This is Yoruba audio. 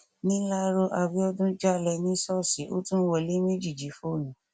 níláró abiodun jálẹ ní ṣọọṣì ó tún wọlé méjì jí fóònù